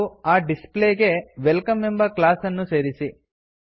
ಹಾಗೂ ಆ ಡಿಸ್ಪ್ಲೇ ಗೆ ವೆಲ್ಕಮ್ ಎಂಬ ಕ್ಲಾಸ್ ಅನ್ನು ಸೇರಿಸಿ